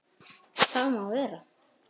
Það má vera.